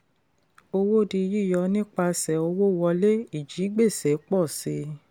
owó di yíyọ nípasẹ̀ owó wọlé; ìjigbèsè pọ̀ si.